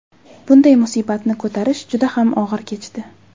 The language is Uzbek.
Bunday musibatni ko‘tarish juda ham og‘ir kechdi.